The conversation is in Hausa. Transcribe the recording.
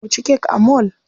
Mu ci kek a mall.